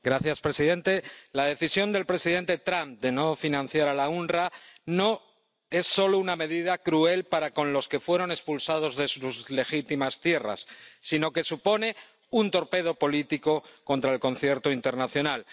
Señor presidente, la decisión del presidente Trump de no financiar al OOPS no es solo una medida cruel para con los que fueron expulsados de sus legítimas tierras sino que supone un torpedo político contra el concierto internacional.